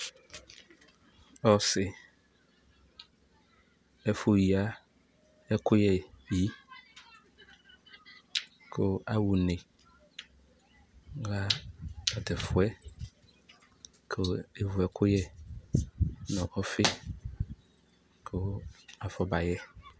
Ɔsi, ɛfʋ yǝ ɛkʋyɛyi, kʋ aha une kɔyha tat'ɛfʋɛ, kʋ evu ɛkʋyɛnʋ ɔfi, kʋ afɔbayɛ